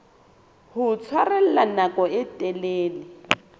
ho tshwarella nako e telele